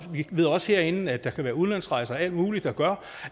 ved også herinde at der kan være udlandsrejser og alt muligt der gør